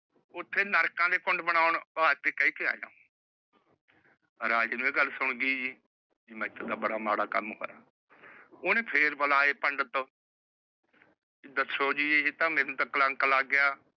ਉੱਥੇ ਨਰਕਾਂ ਦੇ ਪੰਡ ਬਣਾਉਣ ਦਾ ਕਹਿ ਕੇ ਆਇਆ। ਰਾਜੇ ਨੂੰ ਇਹ ਗੱਲ ਸੁਨ ਗਈ ਮੇਥੋ ਤਾਂ ਬੜਾ ਮਾੜਾ ਕੰਮ ਹੋਇਆ। ਓਹਨੇ ਫੇਰ ਬੁਲਾਏ ਪੰਡਿਤ ਦੱਸੋ ਜੀ ਇਹ ਤਾਂ ਮੈਨੂੰ ਜੀ ਕਲੰਕ ਲੱਗ ਗਿਆ।